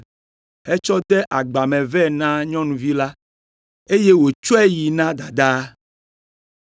hetsɔ de agba me vɛ na nyɔnuvi la, eye wòtsɔe yi na dadaa.